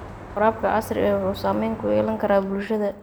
Waraabka casriga ahi waxa uu saamayn ku yeelan karaa bulshada.